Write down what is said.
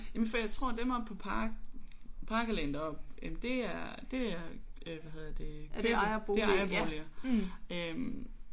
Jamen for jeg tror dem oppe på Parkalleen deroppe det er det er øh hvad hedder det købe det er ejerboliger øh